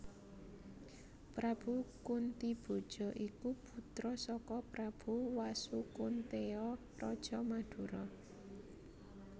Prabu Kuntiboja iku putra saka Prabu Wasukunteya raja Mandura